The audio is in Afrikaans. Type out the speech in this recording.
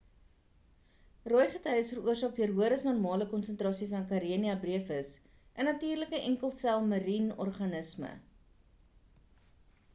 rooi gety is veroorsaak deur hoër as normale konsentrasie van karenia brevis 'n natuurlike enkel sel marien organisme